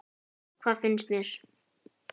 Hvað fannst mér?